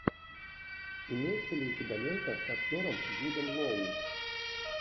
имеется ли у тебя лента с актером джудом лоу